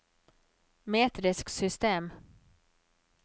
metrisk system